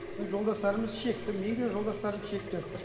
енді жолдастарымыз шекті менің де жолдастарым шекті